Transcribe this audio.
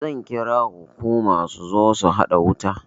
Zan kira hukuma su zo su haɗa wuta